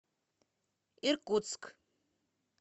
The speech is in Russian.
иркутск